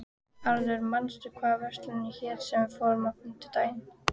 Arthur, manstu hvað verslunin hét sem við fórum í á fimmtudaginn?